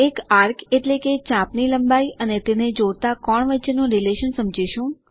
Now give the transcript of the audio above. એક આર્ક એટલે કે ચાપની લંબાઈ અને તેને જોડતા કોણ વચ્ચેનું રીલેશન સમજીશું